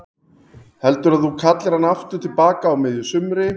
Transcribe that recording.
Heldurðu að þú kallir hann aftur til baka á miðju sumri?